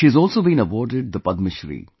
She has also been awarded the Padma Shri